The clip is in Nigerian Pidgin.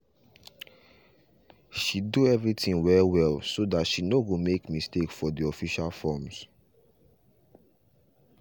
she do everything well well so that she no go make mistake for the official forms